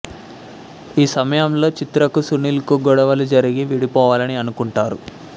ఈ సమయంలో చిత్రకు సునీల్ కు గొడవలు జరిగి విడిపోవాలని అనుకుంటారు